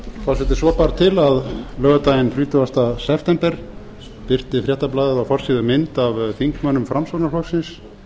forseti svo bar til að laugardaginn þrítugasta september birti fréttablaðið á forsíðu mynd af þingmönnum framsóknarflokksins